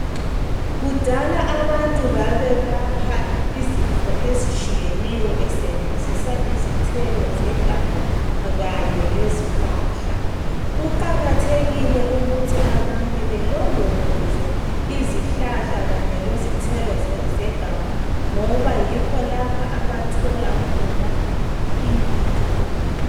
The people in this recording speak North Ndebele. Kudala abantu babelapha izifo ezitshiyeneyo besebenzisa izithelo zeganga kanye lezihlahla. Kuqakathekile kakhulu ukuthi abantu belondoloze izihlahla kanye lezithelo zeganga ngoba yikho lapha abathola khona impilo.